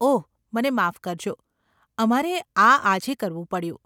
ઓહ, મને માફ કરજો, અમારે આ આજે કરવું પડ્યું.